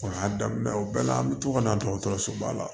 O y'a daminɛ o bɛɛ la an bi to ka na dɔgɔtɔrɔso ba la